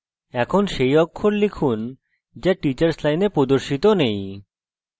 এখন সেই অক্ষর লিখুন যা teachers line প্রদর্শিত now